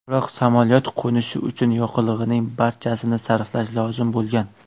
Biroq samolyot qo‘nishi uchun yoqilg‘ining barchasini sarflash lozim bo‘lgan.